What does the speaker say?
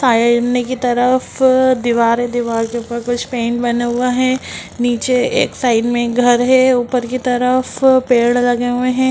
सामने की तरफ दीवार है दीवार में के ऊपर कुछ पेन बने हुए हैं नीचे एक साइड में घर है ऊपर की तरफ पेड़ लगे हुए हैं|